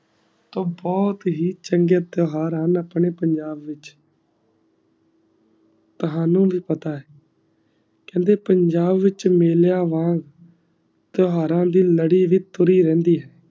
ਟੋਹ ਬੋਹਤ ਹੀ ਚੰਗੇ ਇਤ੍ਹਾਰ ਆ ਨਾ ਅਪਨੇ ਪੰਜਾਬ ਵਿਚ ਤਾਵਾਨੁ ਵੀ ਪਤਾ ਹੈ ਕਹ੍ਨ੍ਡ ਪੰਜਾਬ ਵਿਚ ਮੀਲਿਯ ਵਾਲ ਇਤ੍ਹਾਰਾ ਦੀ ਨਾਲੀ ਵੀ ਤੁਰੀ ਰਿਹੰਦੀ ਹੈ